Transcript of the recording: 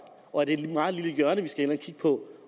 og at det er et meget lille hjørne vi skal ind at kigge på